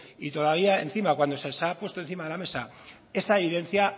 y todavía encima cuando se os ha puesto encima de la mesa esa evidencia